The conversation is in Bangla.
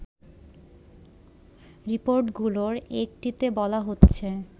রিপোর্টগুলোর একটিতে বলা হচ্ছে